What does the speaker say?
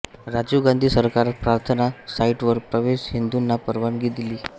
राजीव गांधी सरकार प्रार्थना साइटवर प्रवेश हिंदूंना परवानगी दिली आहे